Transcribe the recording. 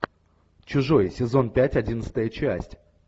чужой сезон пять одиннадцатая часть